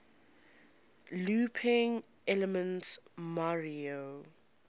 looping elements mario